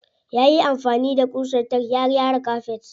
Yayi amfani da ƙusar tack ya gyara kafet.